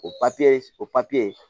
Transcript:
O ye o papiye